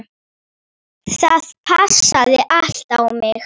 Það passaði allt á mig.